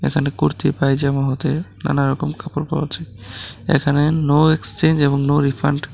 এখানে কুর্তি পায়জামা হতে নানা রকম কাপড় পাওয়া যায় এখানে নো এক্সচেঞ্জ এবং নো রিফান্ড ।